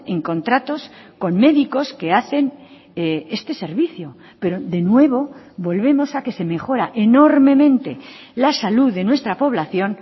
en contratos con médicos que hacen este servicio pero de nuevo volvemos a que se mejora enormemente la salud de nuestra población